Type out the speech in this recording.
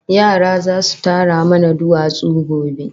Yara zasu tara mana duwatsu gobe